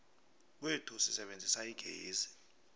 kwethu sisebenzisa igezi